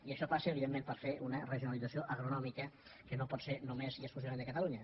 i això passa evidentment per fer una regionalització agronòmica que no pot ser només i exclusivament de catalunya